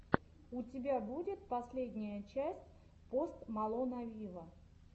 у тебя будет последняя часть пост малона виво